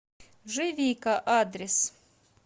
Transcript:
живика адрес